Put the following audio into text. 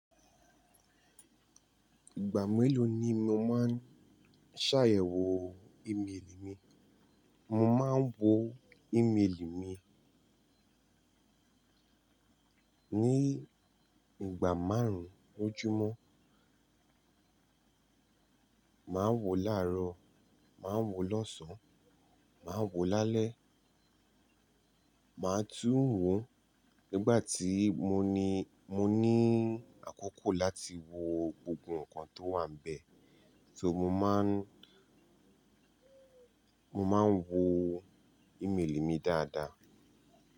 Ìgbà mélòó ni mo máa ń ṣàyẹ̀wò ímeèlì mi? Mo máa ń wo ímeèlì mi ní ìgbà márùn-ún lójúmọ́. Màá ń wo láàárọ̀, màá ń wo lọ́sàn-án, màá ń wo lálẹ́, màá tún ń wo nígbà tí mo ní, mo ní àkókò láti wo gbogbo nǹkan tó wà níbẹ̀. Bí i tó mo máa ń, mo máa ń wo ímeèlì mi dáadáa.